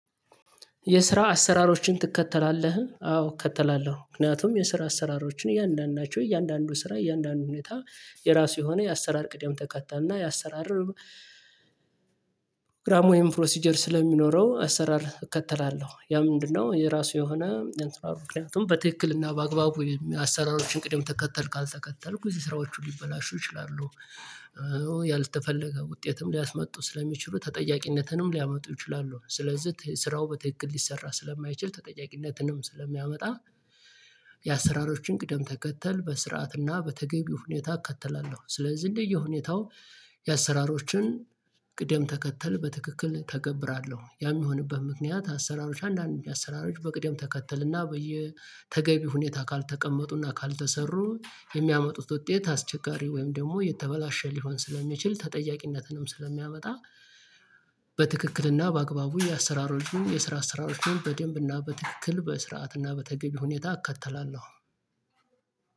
የስራ አሰራሮችን ትከተላለህ? አዎ እከተላለሁ ምክንያቱም የስራ አሰራሮችን እያንዳንዳቸው እያንዳንዱ ስራ እያንዳንዱ ሁኔታ የራሱ የሆነ የአሰራር ቅደም ተከተል ና የአሰራር ግራም ወይም ፕሮሲጀር ስለሚኖረው አሰራር እከተላለሁ ያ ምንድነው የራሱ የሆነ የንትራሩ ክላይንትም በትክክልና በአግባቡ የሚያሰራራችሁን ቅደም ተከተል ካልተከተልኩ እዚህ ስራዎቹ ሊበላሹ ይችላሉ ያልተፈለገ ውጤትም ሊያስመጡ ስለሚችሉ ተጠያቂነትንም ሊያመጡ ይችላሉ ስለዚህ ስራው በትክክል ሊሰራ ስለማይችል ተጠያቂነትንም ስለሚያመጣ የአሰራሮችን ቅደም ተከተል በስርዓትና በተገቢው ሁኔታ እከተላለሁ ስለዚህ እንደየሁኔታው የአሰራሮችን ቅደም ተከተል በትክክል ተገብራለሁ ያ የሚሆንበት ምክንያት አሰራሮች አንዳንድ አሰራሮች በቅደም ተከተልና በየተገቢ ሁኔታ ካልተቀመጡና ካልተሰሩ የሚያመጡት ውጤት አስቸጋሪ ወይም ደግሞ የተበላሸ ሊሆን ስለሚችል ተጠያቂነትንም ስለሚያመጣ በትክክልና በአግባቡ የአሰራር ልዩ የስራ አሰራሮችን በደንብና በትክክል በስርዓትና በተገቢ ሁኔታ አከተላለሁ